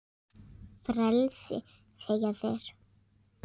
Frelsi segja þeir.